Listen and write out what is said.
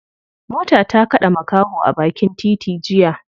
Mota ta kade makaho a bakin titi jiya.